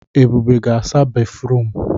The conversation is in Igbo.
Ebube ga-asa béfrụm.